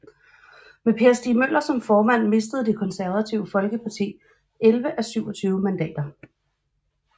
Med Per Stig Møller som formand mistede Det Konservative Folkeparti 11 af 27 mandater